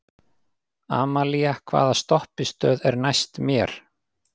Amalía, hvaða stoppistöð er næst mér?